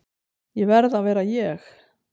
Ég verð að vera ég.